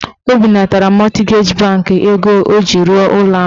O binatara mọtgeji bankị ego ọ ji rụọ ụlọ ahụ.